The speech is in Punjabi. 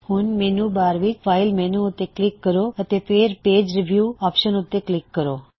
ਹੁਣ ਮੈੱਨੂ ਬਾਰ ਵਿੱਚ ਫਾਇਲ ਮੈੱਨੂ ਉੱਤੇ ਕਲਿੱਕ ਕਰੋ ਅਤੇ ਫੇਰ ਪੇਜ ਰੀਵਿਊ ਆਪਸ਼ਨ ਉੱਤੇ ਕਲਿੱਕ ਕਰੋ